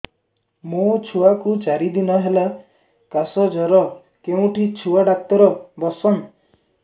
ମୋ ଛୁଆ କୁ ଚାରି ଦିନ ହେଲା ଖାସ ଜର କେଉଁଠି ଛୁଆ ଡାକ୍ତର ଵସ୍ଛନ୍